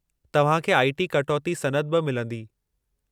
तव्हां खे आईटी कटौती सनद बि मिलंदी।